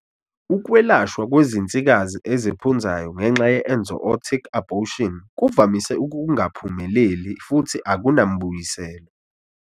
Ukwelashwa kwezinsikazi eziphunzayo ngenxa ye-enzootic abortion kuvamise ukungaphumelel i futhi akunambuyiselo.